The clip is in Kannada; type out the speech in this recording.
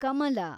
ಕಮಲ